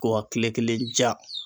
Ko wa kile kelen ja